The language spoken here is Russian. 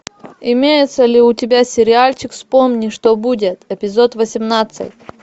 имеется ли у тебя сериальчик вспомни что будет эпизод восемнадцать